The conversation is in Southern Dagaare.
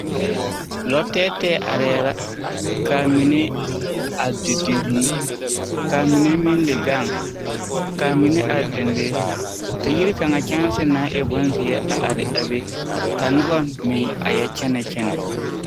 Lɔ tɛɛtɛɛ arɛɛ la. Ka a mine a didi vũũ, ka mine meŋ le gaŋ, ka mine are dendeŋe ka yiri kaŋa kyɛnse naŋ e bonzeɛ a are a be. Ka noba meŋ a yɔ kyɛnɛ kyɛnɛ.